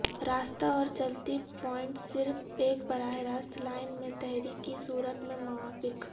راستہ اور چلتی پوائنٹس صرف ایک براہ راست لائن میں تحریک کی صورت میں موافق